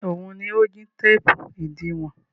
Ẹn, òun ni ó jí téépù ìdiwọn.